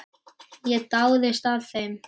Ég dáðist að þeim.